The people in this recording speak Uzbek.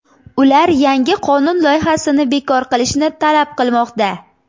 Ular yangi qonun loyihasini bekor qilishni talab qilmoqda.